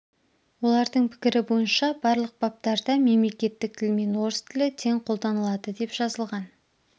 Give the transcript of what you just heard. олардың пікірі бойынша барлық баптарда мемлекеттік тілмен орыс тілі тең қолданылады деп жазылған